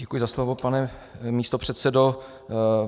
Děkuji za slovo, pane místopředsedo.